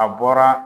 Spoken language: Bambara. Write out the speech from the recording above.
A bɔra